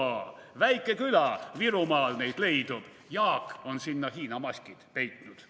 / Väike küla, Virumaal neid leidub, / Jaak on sinna Hiina maskid peitnud.